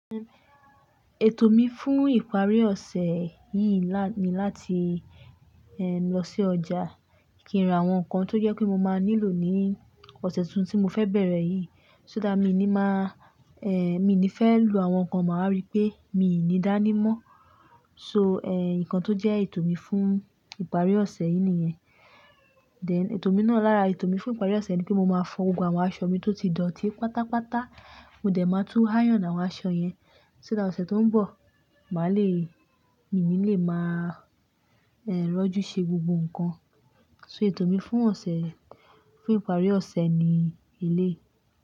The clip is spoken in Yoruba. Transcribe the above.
Ètò mi fún ìparí ọ̀sẹ̀ yìí lá-- ni láti, eh, lọ sí ọjà kí n ra àwọn nǹkan tó jẹ́ pé mo máa nílò ní ọ̀sẹ̀ tuntun tí mo fẹ́ bẹ̀rẹ̀ yìí. Só dá mi ni máa, eh, mi ni fẹ́ lu àwọn nǹkan máa rí pé mi ò ní dání mọ́. So, eh, nǹkan tó jẹ́ ètò mi fún ìparí ọ̀sẹ̀ yìí nìyẹn. Then ètò mi náà lára ètò mi fún ìparí ọ̀sẹ̀ ni pé mo máa fọ gbogbo àwọn aṣọ mi tó ti dọ̀tí pátápátá. Mo dẹ̀ máa tún háyàn àwọn aṣọ yẹn. Só that ọ̀sẹ̀ tó ń bọ̀, màá le, mi ni lè máa, eh, rọ́jú ṣe gbogbo nǹkan. So ètò mi fún ọ̀sẹ̀, fún ìparí ọ̀sẹ̀ ni eleyi.